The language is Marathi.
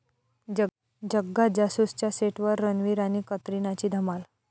जग्गा जासूस'च्या सेटवर रणबीर आणि कतरिनाची धमाल